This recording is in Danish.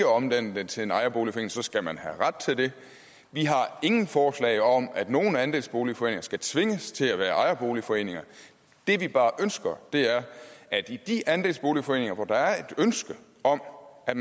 omdanne den til en ejerforening så skal man have ret til det vi har ingen forslag om at nogen andelsboligforening skal tvinges til at være ejerforening det vi bare ønsker er at i de andelsboligforeninger hvor der er et ønske om at